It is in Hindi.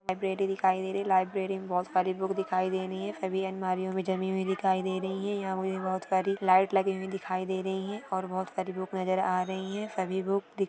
लाइब्रेरी दिखाई दे रही लाइब्रेरेरी बहोत सारी बूक दिखाई दे रही है सभी अल्मारियोमे जमी हुई दिखाई दे रही है यहा मुझे बहोत सारी लाइट लगी हुई दिखाई दे रही है और बहोत सारी बूक नज़र आ रही है सभी बूक दिख--